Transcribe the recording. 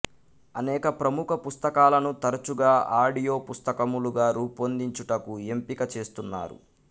అనేక ప్రముఖ పుస్తకాలను తరచూగా ఆడియో పుస్తకములుగా రూపొందించుటకు ఎంపిక చేస్తున్నారు